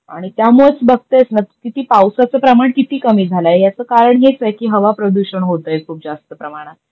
आणि त्यामुळेच बगतेसना तु किती पावसाच प्रमाण किती कमी झालाय, याचं कारण हेच आहे की हवा प्रदूषण होतंय खूप जास्त प्रमाणात.